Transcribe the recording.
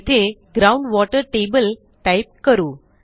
येथे ground water table type करू